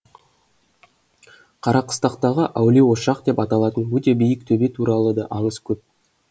қарақыстақтағы әулие ошақ деп аталатын өте биік төбе туралы да аңыз көп